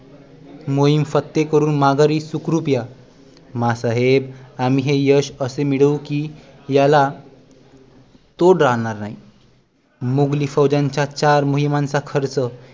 मोहीम फत्ते करून माघारी सुखरुप या, माँ साहेब आम्ही हे यश असे मिळवू कि याला तोड राहणार नाही मुघली फौजांच्या चार मोहिमांचा खर्च